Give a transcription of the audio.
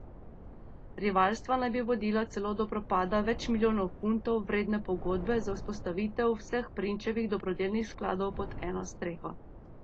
Rivalstva naj bi vodila celo do propada več milijonov funtov vredne pogodbe za vzpostavitev vseh prinčevih dobrodelnih skladov pod eno streho.